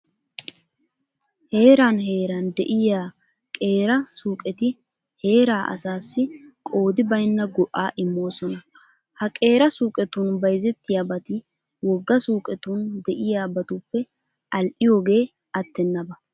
Heeran heeran de'iya qeera suuqeti heeraa asaassi qoodi baynna go"aa immoosona. Ha qeera suuqetun bayzettiyabati wogga suuqetun de'iyabatuppe al"iyogee attennaba.